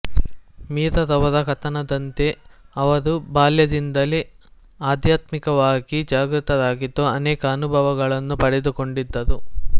ಮೀರಾ ರವರ ಕಥನದಂತೆ ಅವರು ಬಾಲ್ಯದಿಂದಲೇ ಅಧ್ಯಾತ್ಮಿಕವಾಗಿ ಜಾಗೃತರಾಗಿದ್ದು ಅನೇಕ ಅನುಭವಗಳನ್ನು ಪಡೆದುಕೊಂಡಿದ್ದರು